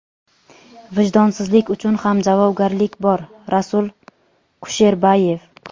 "Vijdonsizlik uchun ham javobgarlik bor" – Rasul Kusherbayev.